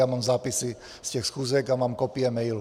Já mám zápisy z těch schůzek a mám kopie mailů.